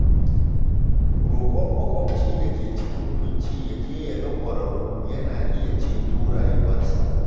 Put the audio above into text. Rokon makwabci da ke cikin kunci ya je ya ga kwararru yana iya ceto rayuwarsa.